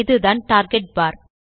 இதுதான் டார்கெட் பார்